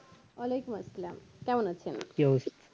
ওয়া আলাইকুম আসসালাম কেমন আছেন